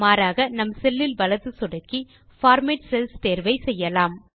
மாறாக நாம் செல்லில் வலது சொடுக்கி பார்மேட் செல்ஸ் தேர்வை செய்யலாம்